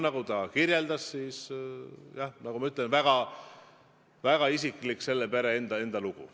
Nagu ta kinnitas, jah, see on väga isiklik, selle pere enda lugu.